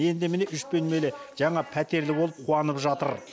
енді міне үш бөлмелі жаңа пәтерлі болып қуанып жатыр